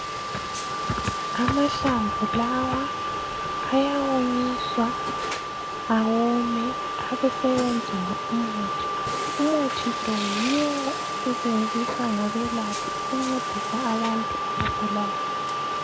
Amahlamvu lawa ayawonyiswa awome abeseyenziwa umuthi. Umuthi lo yiwo osetshenziswa ngabelaphi ukuncedisa abantu abagulayo